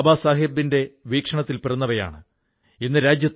ഏകദേശം ഇരുനൂറോളം പേർക്ക് നിത്യവൃത്തി കൊടുക്കുന്നുമുണ്ട്